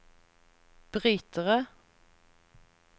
brytere